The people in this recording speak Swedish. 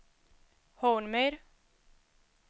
Hornmyr